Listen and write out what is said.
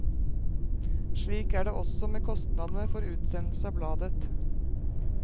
Slik er det også med kostnadene for utsendelse av bladet.